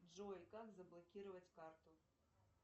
джой как заблокировать карту